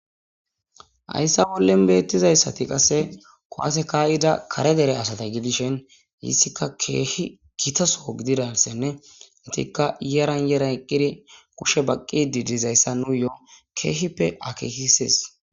Hayssa bollin betizayisati qasse kuwasse ka'ida kare dere asata gidishin issiqa kehi gitta soho gididasane ettika yaran yaran eqqidi kushe baqqidi dizayssa nuyo kehipe akekises.